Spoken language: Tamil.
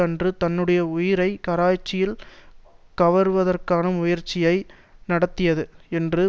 அன்று தன்னுடைய உயிரை கராச்சியில் கவர்வதற்கான முயற்சியை நடத்தியது என்று